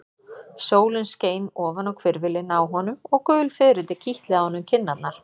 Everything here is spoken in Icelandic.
Sólin skein ofan á hvirfilinn á honum og gul fiðrildi kitluðu á honum kinnarnar.